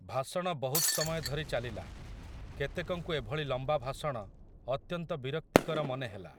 ଭାଷଣ ବହୁତ୍ ସମୟ ଧରି ଚାଲିଲା, କେତେକଙ୍କୁ ଏଭଳି ଲମ୍ବା ଭାଷଣ, ଅତ୍ୟନ୍ତ ବିରକ୍ତିର ମନେହେଲା ।